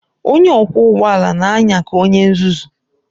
Onye ọkwọ ụgbọ ala na-anya ka onye nzuzu